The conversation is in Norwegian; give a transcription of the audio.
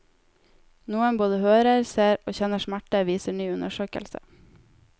Noen både hører, ser og kjenner smerte, viser ny undersøkelse.